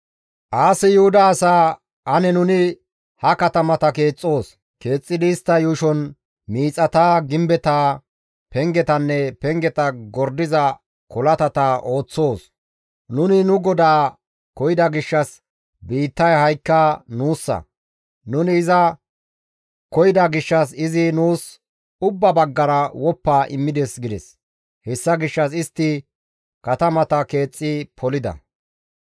Aasi Yuhuda asaa, «Ane nuni ha katamata keexxoos; keexxidi istta yuushon miixata, gimbeta, pengetanne pengeta gordiza kolatata ooththoos. Nuni nu GODAA koyida gishshas biittaya ha7ikka nuussa. Nuni iza koyida gishshas izi nuus ubba baggara woppa immides» gides; hessa gishshas istti katamata keexxi polida.